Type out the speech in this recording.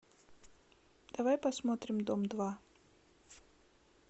давай посмотрим дом два